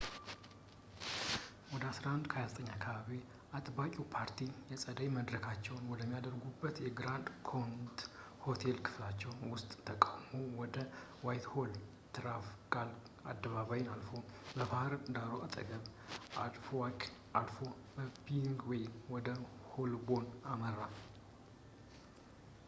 ወደ 11፡29 አካባቢ፣ አጥባቂው ፓርቲ የጸደይ መድረካቸውን ወደሚያደርጉበት በግራንድ ኮኖት የሆቴል ክፍላቸው ውስጥ ተቃውሞው ወደ ዋይትሆል፣ ትራፋልጋር አደባባይን አልፎ፣ በባህድ ዳሩ አጠገብ፣ በአልድዊክ አልፎ በኪንግስዌይ ወደ ሆልቦርን አመራ